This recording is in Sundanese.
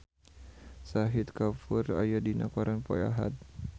Shahid Kapoor aya dina koran poe Ahad